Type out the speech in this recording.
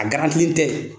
A garantilen tɛ